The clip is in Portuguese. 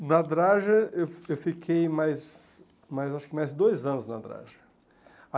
Na Adraja, eu fi eu fiquei mais mais, acho que mais dois anos na Adraja.